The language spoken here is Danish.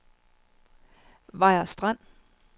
Vejers Strand